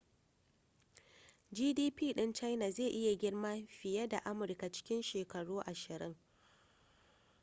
gdp ɗin china zai iya girma fiye da amurka cikin shekaru ashirin